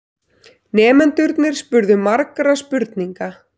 Nemendurnir spurðu margra spurninga.